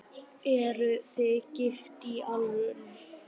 Eruð þið gift í alvöru?